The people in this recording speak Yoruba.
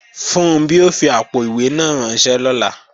Funbí ó fi àpò-ìwé náà ránṣẹ́ lọ́la